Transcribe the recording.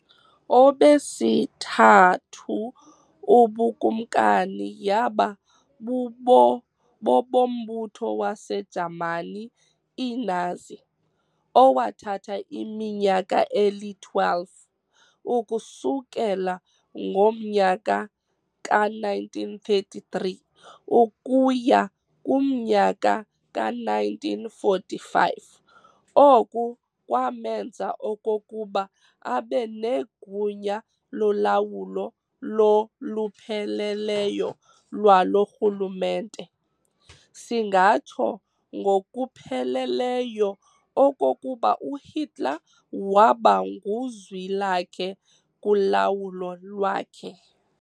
Obesithathu ubuKumkani yaba bobombutho waseJamani iNazi, owathatha iminyaka eli-12, ukusukela ngomyaka ka-1933 ukuya kumnyaka ka-1945. Oku kwamenza okokuba abe negunya lolawulo lolupheleleyo lwalo rhulumente. singatsho ngokupheleleyo okokuba uHitler wabanguzwilakhe kulawulo lwakhe.